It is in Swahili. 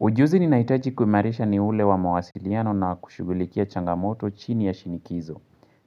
Ujuzi ninahitaji kuimarisha ni ule wa mawasiliano na kushugulikia changamoto chini ya shinikizo.